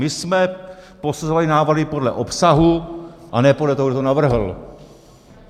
My jsme posuzovali návrhy podle obsahu, a ne podle toho, kdo to navrhl.